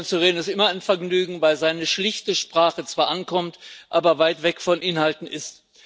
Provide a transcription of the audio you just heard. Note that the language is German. Nach Herrn Coburn zu reden, ist immer ein Vergnügen, weil seine schlichte Sprache zwar ankommt, aber weit weg von Inhalten ist.